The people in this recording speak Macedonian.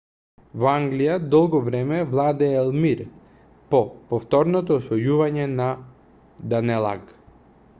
во англија долго време владеел мир по повторното освојување на данелаг